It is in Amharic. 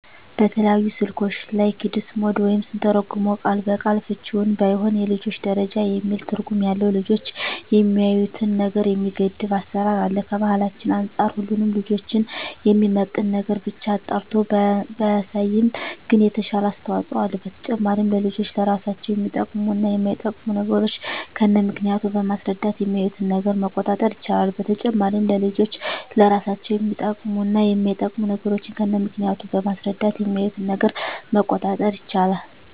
በተለያዩ ስልኮች ላይ "ኪድስ ሞድ" ወይም ስንተረጉመው ቃል በቃል ፍችውም ባይሆን የልጆች ደረጃ የሚል ትርጉም ያለው ልጆች የሚያዪትን ነገር የሚገድብ አሰራር አለ። ከባህላችን አንፃር ሁሉንም ልጆችን የሚመጥን ነገርን ብቻ አጣርቶ ባያሳይም ግን የተሻለ አስተዋጽኦ አለው። በተጨማሪም ለልጆች ለራሳቸው የሚጠቅሙ እና የማይጠቅሙ ነገሮችን ከነምክንያቱ በማስረዳት የሚያዪትን ነገር መቆጣጠር ይቻላል። በተጨማሪም ለልጆች ለራሳቸው የሚጠቅሙ እና የማይጠቅሙ ነገሮችን ከነምክንያቱ በማስረዳት የሚያዪትን ነገር መቆጣጠር ይቻላል።